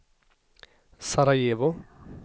Sarajevo